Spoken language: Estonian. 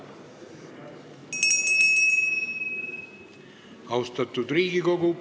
Austatud Riigikogu!